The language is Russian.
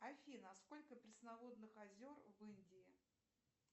афина сколько пресноводных озер в индии